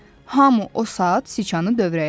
Hamı o saat Siçanı dövrəyə aldı.